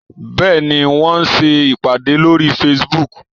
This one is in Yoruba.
Bẹ́ẹ̀ni, wọ́n ń ṣe ìpàdé lórí Facebook